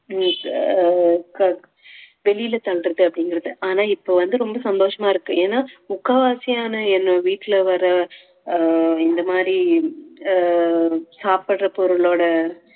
அஹ் வெளியில தள்றது அப்படிங்கறது ஆனா இப்ப வந்து ரொம்ப சந்தோஷமா இருக்கு ஏன்னா முக்காவாசியான என்ன வீட்டுல வர்ற ஆஹ் இந்த மாரி ஆஹ் சாப்பிடற பொருளோட